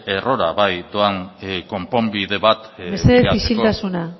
errora bai doan konponbide bat mesedez isiltasuna